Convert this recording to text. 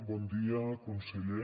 bon dia conseller